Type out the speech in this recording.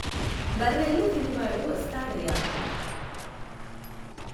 బఱ్ఱెల్లు తినువాడు వస్తాడయా